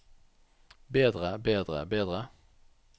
bedre bedre bedre